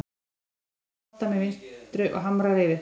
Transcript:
Hann tekur boltann með vinstri og hamrar yfir.